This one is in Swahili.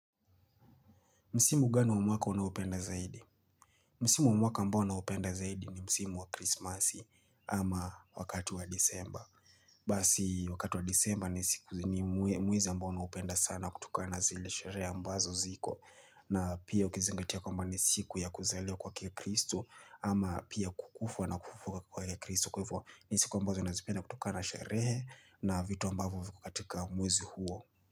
Msimu gani wa mwaka wanaopenda zaidi? Msimu wa mwaka ambao naupenda zaidi ni msimu wa krismasi ama wakati wa disemba. Basi wakati wa disemba ni siku ni mwezi ambao naupenda sana kutokana na zile shereha ambazo ziko. Na pia ukizingatia kwamba ni siku ya kuzaliwa kwake kristo ama pia kukufa na kufufuka kwake kristo. Kwa hivyo ni siku ambazo nazipenda kutokana na sherehe na vitu ambavo viko katika mwezi huo.